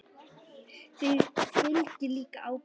Því fylgir líka ábyrgð.